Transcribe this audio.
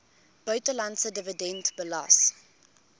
buitelandse dividend belas